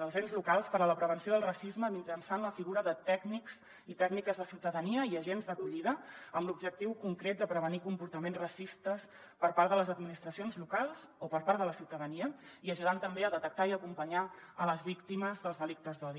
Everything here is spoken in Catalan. dels ens locals per a la prevenció del racisme mitjançant la figura de tècnics i tècniques de ciutadania i agents d’acollida amb l’objectiu concret de prevenir comportaments racistes per part de les administracions locals o per part de la ciutadania i ajudant també a detectar i acompanyar a les víctimes dels delictes d’odi